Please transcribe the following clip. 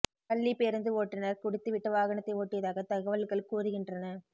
பள்ளிப் பேருந்து ஓட்டுநர் குடித்து விட்டு வாகனத்தை ஓட்டியதாகத் தகவல்கள் கூறுகின்றன